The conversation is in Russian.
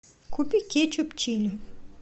купи кетчуп чили